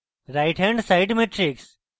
right hand side matrix